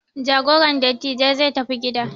Jagoran dattijai zai tafi gida.